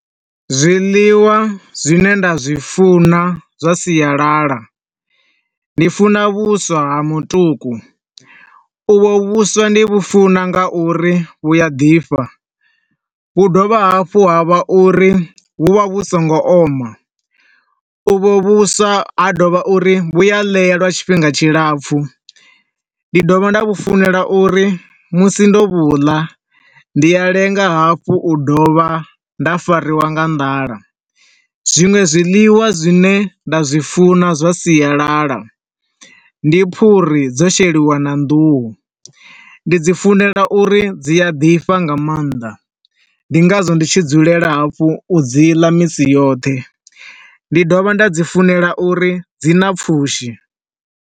Zwiḽiwa zwine nda zwi funa zwa sialala, ndi funa vhuswa ha mutuku. U vho vhuswa ndi vhu funa nga uri vhu a ḓifha, hu dovha hafhu ha vha uri vhu vha vhu songo oma. U vho vhuswa ha dovha uri vhu a ḽeya ha tshifhinga tshilapfu. Ndi dovha nda vhu funela uri musi ndo vhuḽa, ndi a lenga hafhu u dovha nda fariwa nga nḓala. Zwinwe zwiḽiwa zwine nda zwi funa zwa sialala ndi phuri dzo sheliwa na nḓuhu, ndi dzi funela uri dzi a ḓifha nga maanḓa. Ndi ngazwo ndi tshi dzulela hafhu u dzi ḽa misi yoṱhe. Ndi dovha nda dzi funela uri dzi na pfushi.